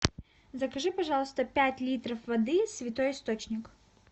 закажи пожалуйста пять литров воды святой источник